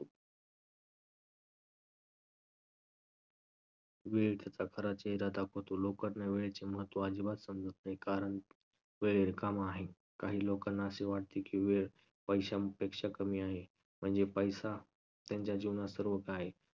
वेळ त्याचा खरा चेहरा दाखवतो. लोकांना वेळेचे महत्त्व आजिबात समजत नाही कारण वेळ रिकामा आहे. काही लोकांना असे वाटते की वेळ पैशांपेक्षा कमी आहे. म्हणजे पैसा त्यांच्या जीवनात सर्व काही आहे.